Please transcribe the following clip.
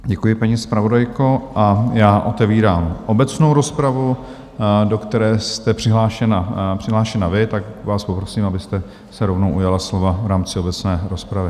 Děkuji, paní zpravodajko, a já otevírám obecnou rozpravu, do které jste přihlášena vy, tak vás poprosím, abyste se rovnou ujala slova v rámci obecné rozpravy.